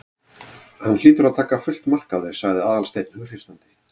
Hann hlýtur að taka fullt mark á þér- sagði Aðalsteinn hughreystandi.